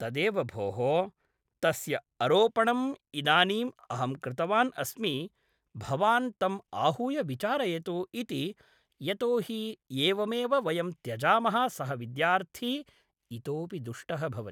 तदेव भोः तस्य अरोपणम् इदानीं अहं कृतवान् अस्मि भवान् तम् आहूय विचारयतु इति यतोहि एवमेव वयं त्यजामः सः विद्यार्थी इतोपि दुष्टः भवति